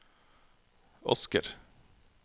Asker